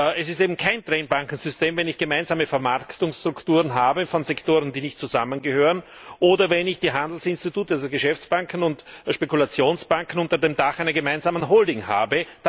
Es ist eben kein Trennbankensystem, wenn ich gemeinsame Vermarktungsstrukturen von Sektoren, die nicht zusammengehören, habe, oder wenn ich die Handelsinstitute, also Geschäftsbanken, und Spekulationsbanken unter dem Dach einer gemeinsamen Holding habe.